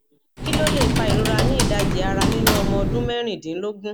kí ló lè fa ìrora ni idaji arà nínú ọmọ ọdún mẹrìndínlógún